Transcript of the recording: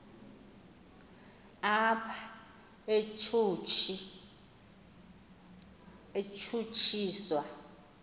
apha utshutshi swa